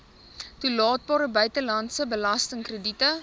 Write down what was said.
toelaatbare buitelandse belastingkrediete